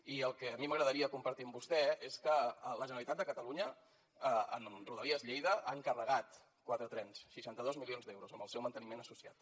i el que a mi m’agradaria compartir amb vostè és que la generalitat de catalunya amb rodalies lleida ha encarregat quatre trens seixanta dos milions d’euros amb el seu manteniment associat